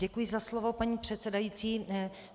Děkuji za slovo, paní předsedající.